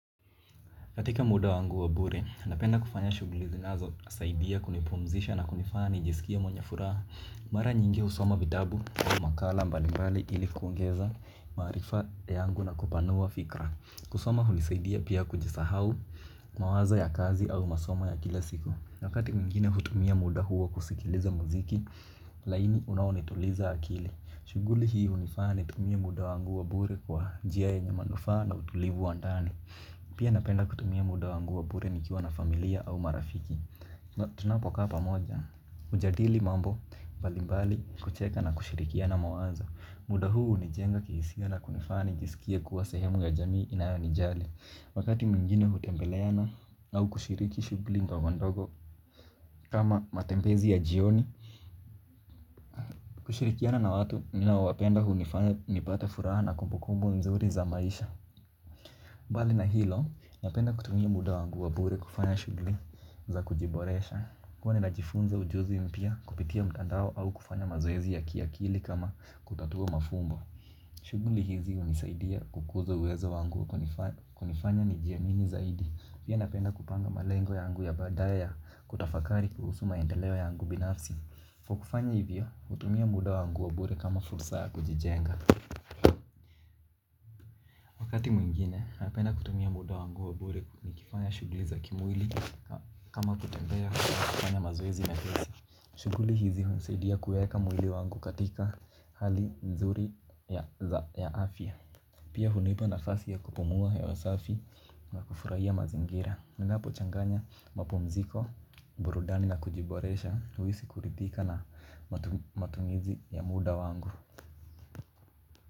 Katika muda wangu wa bure, napenda kufanya shuguli zinazo saidia kunipumzisha na kunifanya nijisikie mwenye furaha. Mara nyingi husoma vitabu, makala mbali mbali ili kuongeza, maarifa yangu na kupanua fikra. Kusoma hunisaidia pia kujisahau, mawazo ya kazi au masomo ya kila siku na wakati mwingine hutumia muda huwa kusikiliza muziki, laini unaonituliza akili. Shuguli hii unifanya nitumie muda wangu wa bure kwa njia yenye manufaa na utulivu wa ndani. Pia napenda kutumia muda wangu wa bure nikiwa na familia au marafiki tunapo kaa pamoja ujadili mambo mbalimbali kucheka na kushirikiana mawazo. Muda huu hunijenga kihisia na kunifanya nijisikie kuwa sehemu ya jamii inayo nijali. Wakati mwingine hutembeleana au kushiriki shugli ndogondogo kama matembezi ya jioni. Kushirikiana na watu ninaowapenda huu nipata furaha na kumbukumbu nzuri za maisha. Mbali na hilo, napenda kutumia muda wangu wa bure kufanya shugli za kujiboresha huwa ninajifunza ujuzi mpya kupitia mtandao au kufanya mazoezi ya kiakili kama kutatua mafumbo. Shugli hizi unisaidia kukuza uweza wangu kunifanya nijiamini zaidi pia napenda kupanga malengo yangu ya baadae ya kutafakari kuhusu maendeleo yangu binafsi kwa kufanya hivyo, hutumia muda wangu wa bure kama fursa ya kujijenga. Wakati mwingine, napenda kutumia muda wangu wa bure nikifanya shuguli za kimwili kama kutembea kufanya mazoezi na kisi. Shuguli hizi hunisaidia kueka mwili wangu katika hali nzuri ya afya. Pia hunipa nafasi ya kupumua hewa safi na kufurahia mazingira ninapo changanya mapumziko, burudani na kujiboresha, huisi kuridhika na matumizi ya muda wangu.